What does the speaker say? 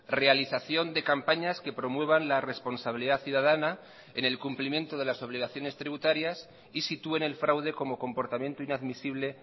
realización de campañas que promuevan la responsabilidad ciudadana en el cumplimiento de las obligaciones tributarias y sitúen el fraude como comportamiento inadmisible